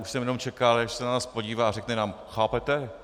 Už jsem jenom čekal, až se na nás podívá a řekne nám: "Chápete?